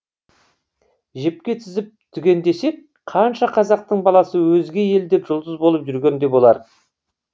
жіпке тізіп түгендесек қанша қазақтың баласы өзге елде жұлдыз болып жүрген де болар